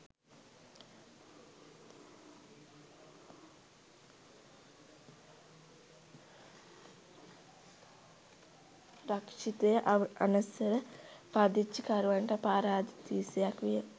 රක්‍ෂිතය අනවසර පදිංචිකරුවන්ට පාරාදීසයක් විය.